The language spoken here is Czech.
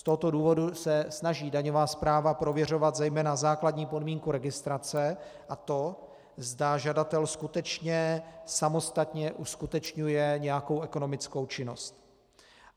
Z tohoto důvodu se snaží daňová správa prověřovat zejména základní podmínku registrace a to, zda žadatel skutečně samostatně uskutečňuje nějakou ekonomickou činnost.